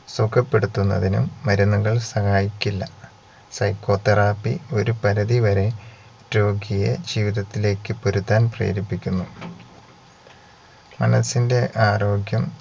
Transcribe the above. സുഖപ്പെടുത്തുന്നതിനും മരുന്നുകൾ സഹായിക്കില്ല psycho therapy ഒരു പരുതി വരെ രോഗിയെ ജീവിതത്തിലേക്ക് പൊരുതാൻ പ്രേരിപ്പിക്കുന്നു മനസിന്റെ ആരോഗ്യം